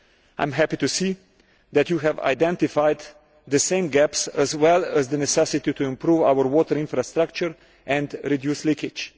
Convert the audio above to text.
I am happy to see that you have identified the same gaps, as well as the necessity to improve our water infrastructure and reduce leakage.